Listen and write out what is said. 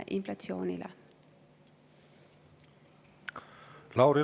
Lauri Laats, palun!